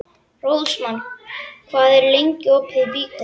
Rósmann, hvað er lengi opið í Byko?